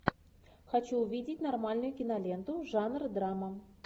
хочу увидеть нормальную киноленту жанр драма